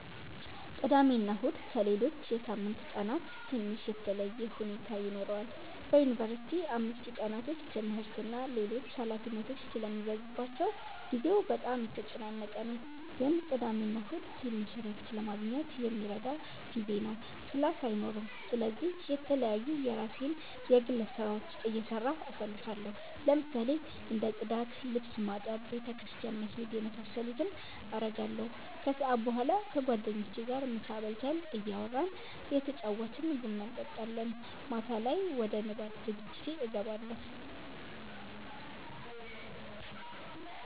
ቅዳሜና እሁድ ከሌሎች የሳምንት ቀናት ትንሽ የተለየ ሁኔታ ይኖረዋል በዩንቨርሲቲ አምስቱ ቀናቶች ትምህርት እና ሌሎች ኃላፊነቶች ስለሚበዙባቸው ጊዜው በጣም የተጨናነቀ ነው ግን ቅዳሜና እሁድ ትንሽ እረፍት ለማግኘት የሚረዳ ጊዜ ነው ክላስ አይኖርም ስለዚህ የተለያዩ የራሴን የግል ስራዎች እየሰራሁ አሳልፋለሁ ለምሳሌ እንደ ፅዳት፣ ልብስ ማጠብ፣ ቤተ ክርስቲያን መሄድ የመሳሰሉትን አረጋለሁ። ከሰዓት በኋላ ከጓደኞቼ ጋር ምሳ በልተን እያወራን እየተጫወትን ቡና እንጠጣለን። ማታ ላይ ወደ ንባብ ዝግጅቴ እገባለሁ።